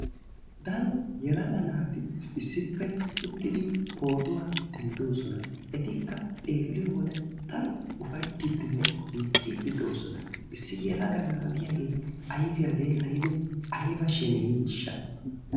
Daro yelaga naati issippe uttidi pootuwa denddoosona. Etikka xeelliyo wode daro ufayittiiddinne miicciiddi doosona. Issi yelaga na"ay de'iyagee ayifiya geellayidi ayiba sheneyiishsha.